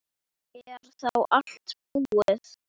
Er þá allt búið?